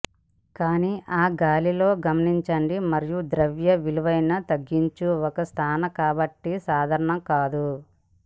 కానీ ఆ గాలితో గమనించండి మరియు ద్రవ్య విలువను తగ్గించు ఒక స్నాన కాబట్టి సాధారణ కాదు